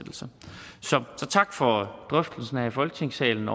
tak for drøftelsen her i folketingssalen